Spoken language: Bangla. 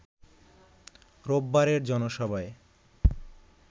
রোববারের জনসভায়